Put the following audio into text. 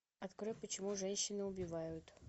открой почему женщины убивают